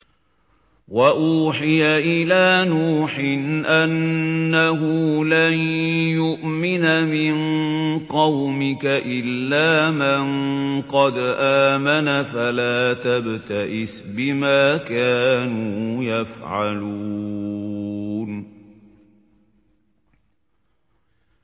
وَأُوحِيَ إِلَىٰ نُوحٍ أَنَّهُ لَن يُؤْمِنَ مِن قَوْمِكَ إِلَّا مَن قَدْ آمَنَ فَلَا تَبْتَئِسْ بِمَا كَانُوا يَفْعَلُونَ